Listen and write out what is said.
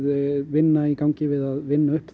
vinna í gangi við að vinna upp